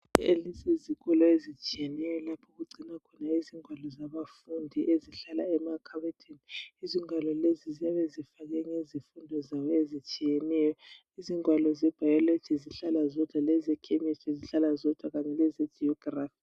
Elisi yizikolo ezitshiyeneyo lapho okugcinwa khona ingwalo zabafundi ezihlala emakhabothini, izingwalo lezi ziyabe zifakwe ngezifundo zazo ezitshiyeneyo. Izingwalo zeBiology zihlala zodwa lezeChemisrty zihlala zodwa kanye lezeGeography